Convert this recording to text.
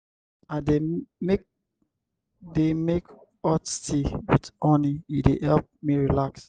i dey make dey make hot tea wit honey e dey help me relax.